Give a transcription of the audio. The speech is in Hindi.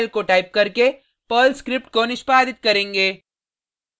पर्ल स्क्रिप्ट को निष्पादित करेंगे